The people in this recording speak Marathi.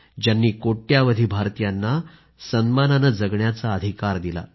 ज्यांनी कोट्यवधी भारतीयांना सन्मानाने जगण्याचा अधिकार दिला